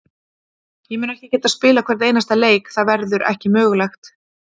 Ég mun ekki geta spilað hvern einasta leik, það verður ekki mögulegt.